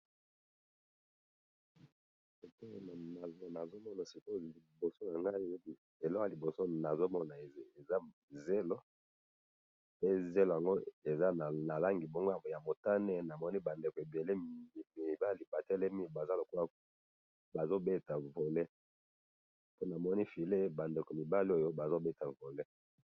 namoni zelo ya motane na bandeko batelemi bazo beta volley ball.